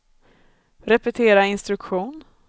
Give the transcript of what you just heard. repetera instruktion